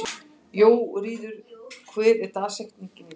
Jóríður, hver er dagsetningin í dag?